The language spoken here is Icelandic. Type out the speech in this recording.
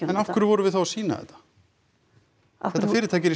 en af hverju vorum við þá að sýna þetta þetta fyrirtæki er